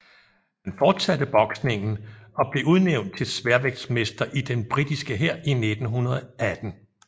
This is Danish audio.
Han fortsatte boksningen og blev udnævnt til sværvægtsmester i den britiske hær i 1918